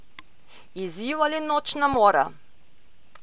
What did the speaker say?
Izziv ali nočna mora?